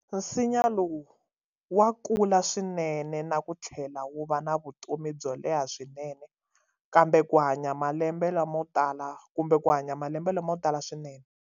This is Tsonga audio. Nsinya lowu wa kula swinene na ku tlhela wu va na vutomi byo leha swinene kumbe ku hanya malembe lamo tala swinene.